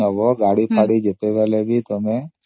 ଯେବେ ବି ତୁମେ ଗାଡି କିଣିବ କି loan ନବ